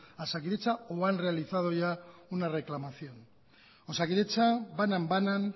a osakidetza o han realizado ya una reclamación osakidetza banan banan